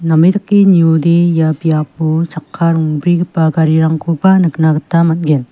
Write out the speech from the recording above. name dake niode ia biapo chakka rongbrigipa garirangkoba nikna gita man·gen.